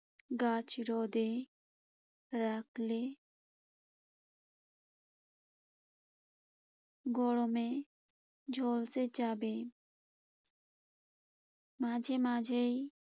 গাছ রোদে রাখলে গরমে ঝলসে যাবে। মাঝেমাঝেই